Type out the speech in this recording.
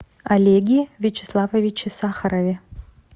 олеге вячеславовиче сахарове